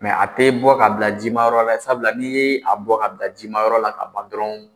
Mɛ a tɛ bɔ ka bila jimayɔrɔ la sabula n'i ye a bɔ ka bila jimayɔrɔ la ka ban dɔrɔn